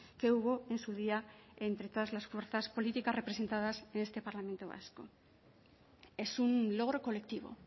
que hubo en su día entre todas las fuerzas políticas representadas en este parlamento vasco es un logro colectivo